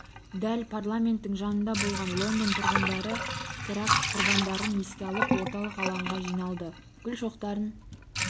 дәл парламенттің жанында болған лондон тұрғындары теракт құрбандарын еске алып орталық алаңға жиналды гүл шоқтарын